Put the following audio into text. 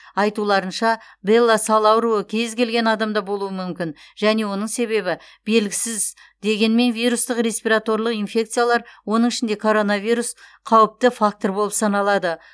айтуларынша белла сал ауруы кез келген адамда болуы мүмкін және оның себебі белгісіз дегенмен вирустық респираторлық инфекциялар оның ішінде коронавирус қауіпті фактор болып саналады